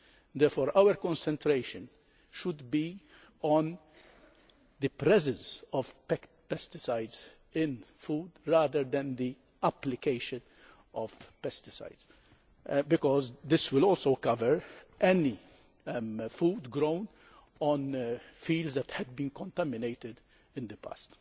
Therefore, our concentration should be on the presence of pesticides in food, rather than the application of pesticides, because this will also cover any food grown on fields which has been contaminated in the past.